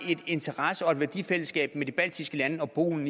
interesse og værdifællesskab med de baltiske lande og polen